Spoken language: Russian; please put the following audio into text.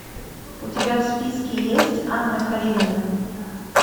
у тебя в списке есть анна каренина